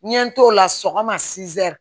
N ye n t'o la sɔgɔma